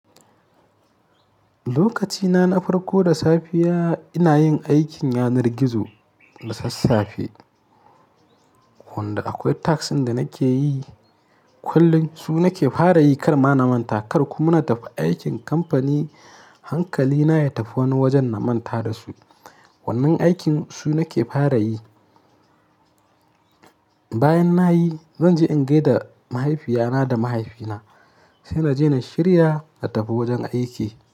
Lokacina na farko da safiya ina yin aikin yanar gizo da sassafe, wanda akwai task ɗin da nake yi kullum. Su nake fara yi kar ma na manta kar kuma na tafi aikin kamfani hankalina ya tafi wani wajen na manta da su. Wannan aikin su nake fara yi. Bayan nayi zanje in gaida mahaifiyana da mahaifina sai naje na shirya na tafi wajen aiki.